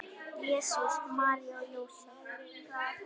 Jesús, María og Jósef!